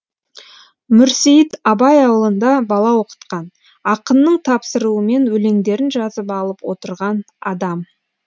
мүрсейіт абай ауылында бала оқытқан ақынның тапсыруымен өлеңдерін жазып алып отырған адам